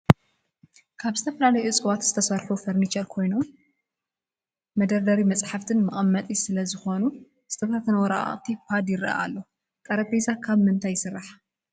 ካብ ዝተፈላለዮ እፅዋት ዝተሰርሑ ፈርንቸር ኮይነ መደርደር መፅሐፍቲ መቀመጢ ሰለ ዝኮነ ዝተበታተነ ወረቃቅቲ ፓድ ይረአ አሎ ።ጠረጴዛ ካብ ምንታይ ይሰራሕ?